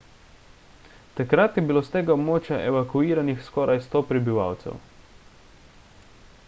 takrat je bilo s tega območja evakuiranih skoraj 100 prebivalcev